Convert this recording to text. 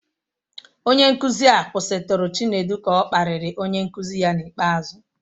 Onye nkuzi a kwụsịtụrụ Chinedu ka ọ kparịrị onye nkuzi ya n'ikpeazụ.